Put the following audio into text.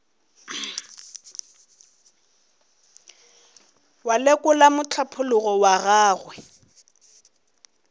wa lekola mohlapologo wa gagwe